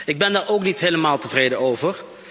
Ik ben daar ook niet helemaal tevreden over.